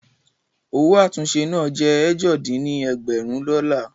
Owó àtúnṣe náà jẹ́ ẹ̀jọ dín ní ẹ̀ẹ́dẹ́gbẹ́rún dọ́là